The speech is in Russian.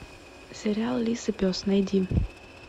сериал лис и пес найди